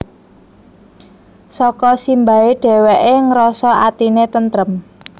Saka simbahe dheweke ngrasa atine tentrem